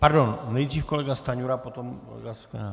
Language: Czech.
Pardon, nejdřív kolega Stanjura, potom kolega Sklenák.